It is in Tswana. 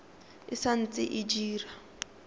e sa ntse e dira